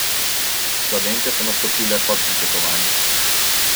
Slovenke so nastopile pod pričakovanji.